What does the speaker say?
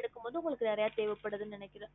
எடுக்கும் பொது உங்களுக்கு நிறைய தேவபடுதுன்னு நினைக்குறேன்